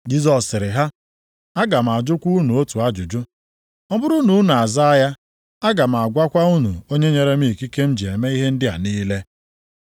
Jisọs zara sị ha, “Aga m ajụkwa unu otu ajụjụ. Ọ bụrụ na unu azaa ya, aga m agwakwa unu onye nyere m ikike m ji eme ihe ndị a niile.